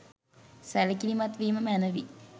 සැලකිලිමත් වීම මැනවි.